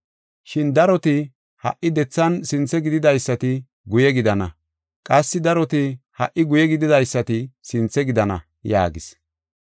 Shin daroti ha77i dethan sinthe gididaysati guye gidana, qassi daroti ha77i guye gididaysati sinthe gidana” yaagis.